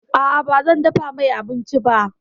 A'a, bazan dafa mai abinci ba.